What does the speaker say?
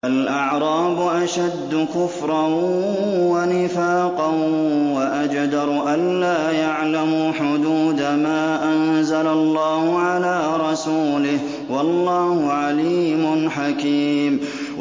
الْأَعْرَابُ أَشَدُّ كُفْرًا وَنِفَاقًا وَأَجْدَرُ أَلَّا يَعْلَمُوا حُدُودَ مَا أَنزَلَ اللَّهُ عَلَىٰ رَسُولِهِ ۗ وَاللَّهُ عَلِيمٌ حَكِيمٌ